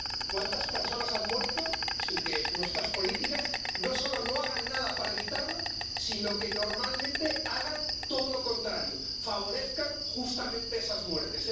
¿Cuántas personas han muerto, sin que nuestras políticas no solo no hagan nada para evitarlo, sino que, normalmente, hagan todo lo contrario, justamente favorezcan esas muertes?